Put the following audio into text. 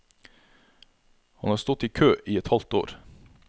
Han har stått i kø i et halvt år.